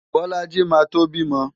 Bolaji máa tó bímọ.